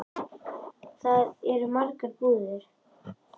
Þar eru margar búðir.